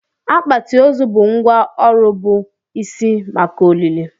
Akpati ozu bụ ngwá ọrụ bụ isi maka olili.